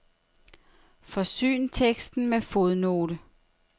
Forsyn teksten med fodnote.